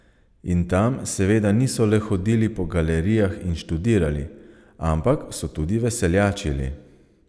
In tam seveda niso le hodili po galerijah in študirali, ampak so tudi veseljačili.